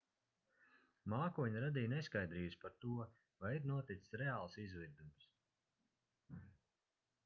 mākoņi radīja neskaidrības par to vai ir noticis reāls izvirdums